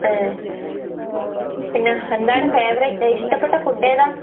ഏഹ്? പിന്നെ എന്താണ് ഫേവറിറ്റ് ഏഹ് ഇഷ്ടപ്പെട്ട ഫുഡേതാ?